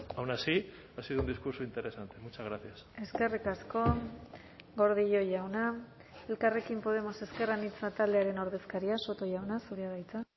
aun así ha sido un discurso interesante muchas gracias eskerrik asko gordillo jauna elkarrekin podemos ezker anitza taldearen ordezkaria soto jauna zurea da hitza